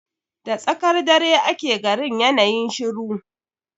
Da tsakar dare ake garin yana yin shiru